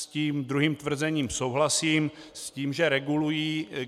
S tím druhým tvrzením souhlasím, s tím, že regulují.